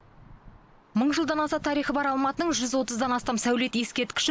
мың жылдан аса тарихы бар алматының жүз отыздан астам сәулет ескерткіші